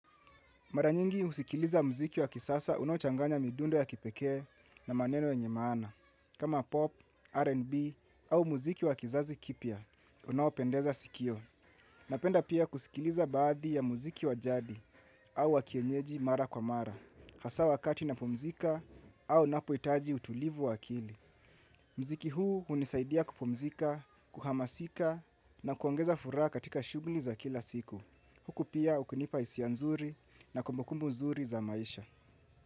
Maranyingi usikiliza mziki wa kisasa unaochanganya midundo ya kipekee na maneno yenye maana. Kama pop, R&B au mziki wa kizazi kipya, unaopendeza sikio. Napenda pia kusikiliza baadhi ya mziki wa jadi au wa kienyeji mara kwa mara. Hasa wakati napumzika au napoitaji utulivu wa akili. Mziki huu unisaidia kupumzika, kuhamasika na kuongeza furaha katika shugli za kila siku. Huku pia ukunipa hisia nzuri na kumbukumbu nzuri za maisha.